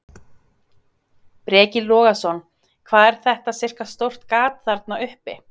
Breki Logason: Hvað er þetta sirka stórt gat þarna uppi?